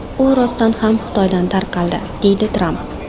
U rostdan ham Xitoydan tarqaldi”, deydi Tramp.